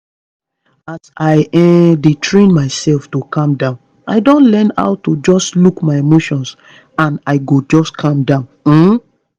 as i um dey train myself to calm down i don learn how to just look my emotions and i go just calm down um